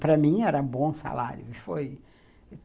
Para mim, era bom salário. Foi